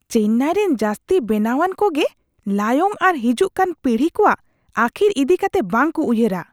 ᱪᱮᱱᱱᱟᱭᱨᱮᱱ ᱡᱟᱹᱥᱛᱤ ᱵᱮᱱᱟᱣᱟᱱ ᱠᱚᱜᱮ ᱞᱟᱭᱚᱝ ᱟᱨ ᱦᱤᱡᱩᱜ ᱠᱟᱱ ᱯᱤᱲᱦᱤ ᱠᱚᱣᱟᱜ ᱟᱹᱠᱷᱤᱨ ᱤᱫᱤ ᱠᱟᱛᱮ ᱵᱟᱝᱠᱚ ᱩᱭᱦᱟᱹᱨᱟ ᱾